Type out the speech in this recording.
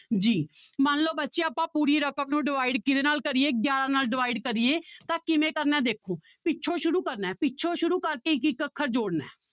g ਮੰਨ ਲਓ ਬੱਚੇ ਆਪਾਂ ਪੂਰੀ ਰਕਮ ਨੂੰ divide ਕਿਹਦੇ ਨਾਲ ਕਰੀਏ ਗਿਆਰਾਂ ਨਾਲ divide ਕਰੀਏ ਤਾਂ ਕਿਵੇਂ ਕਰਨਾ ਦੇਖੋ ਪਿੱਛੋਂ ਸ਼ੁਰੂ ਕਰਨਾ ਹੈ, ਪਿੱਛੋਂ ਸ਼ੁਰੂ ਕਰਕੇ ਇੱਕ ਇੱਕ ਅੱਖਰ ਜੋੜਨਾ ਹੈ।